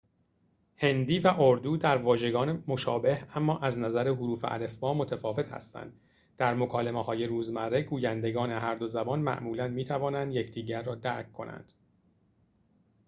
هندی و اردو در واژگان مشابه اما از نظر حروف الفبا متفاوت هستند در مکالمه‌های روزمره گویندگان هر دو زبان معمولاً می‌توانند یکدیگر را درک کنند